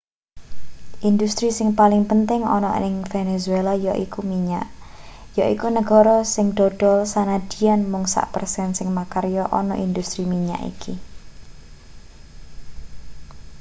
industri sing paling penting ana ning venezuela yaiku minyak yaiku negara sing dodol sanadyan mung sak persen sing makarya ana industri minyak iki